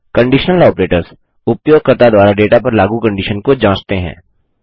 conditional operators उपयोगकर्ता द्वारा data पर लागू कंडिशन को जाँचते हैं